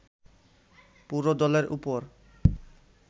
পুরো দলের উপর